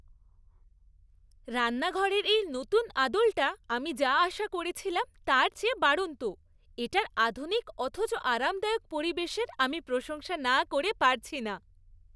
রান্নাঘরের এই নতুন আদলটা আমি যা আশা করেছিলাম তার চেয়ে বাড়ন্ত; এটার আধুনিক অথচ আরামদায়ক পরিবেশের আমি প্রশংসা না করে পারছি না।